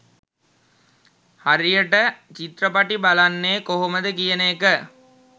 හරියට චිත්‍රපටි බලන්නේ කොහොමද කියන එක.